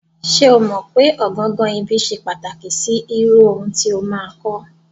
Ṣé́ o mọ̀ pé ọ̀gangan ibi ṣe pàtàkì sí irú ohun tí o máa kọ́.